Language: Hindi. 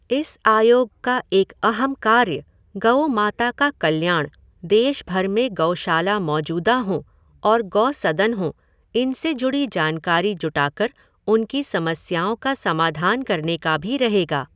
इस आयोग का एक अहम कार्य गऊमाता का कल्याण, देश भर में गौशाला मौजूदा हों और गौसदन हों इनसे जुड़ी जानकारी जुटाकर उनकी समस्याओं का समाधान करने का भी रहेगा।